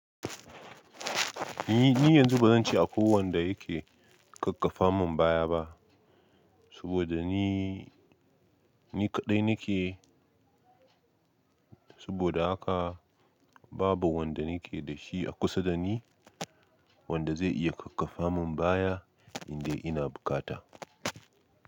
Ni yanzu ba zan ci a ko wanda yake kakkafa mun baya ba, saboda ni, ni kaɗai nake. Saboda haka babu wanda nake da shi a kusa da ni wanda zai iya kakkafa mun baya idan ina bukata.